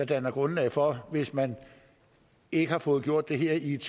dannet grundlag for det hvis man ikke har fået gjort det her i et